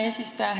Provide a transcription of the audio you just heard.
Hea eesistuja!